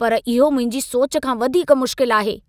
पर इहो मुंहिंजी सोच खां वधीक मुश्किल आहे।